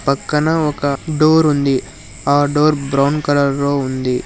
పక్కన ఒక డోర్ ఉంది ఆ డోర్ బ్రౌన్ కలర్ లో ఉంది.